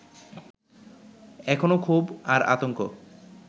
এখনও ক্ষোভ আর আতংক